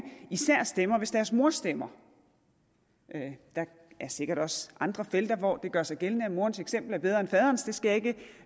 især stemmer hvis deres mor stemmer der er sikkert også andre felter hvor det gør sig gældende at morens eksempel er bedre end farens det skal